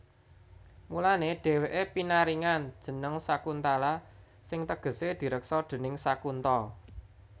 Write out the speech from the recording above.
Mulané dhèwèké pinaringan jeneng Sakuntala sing tegesé direksa déning Sakunta